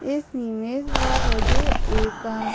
इस इमेज में मुझे एका --